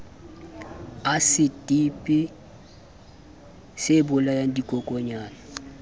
asiti dipi sebolaya dikokonyana le